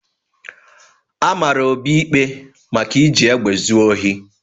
A mara Obi ikpe maka iji egbe zu ohi.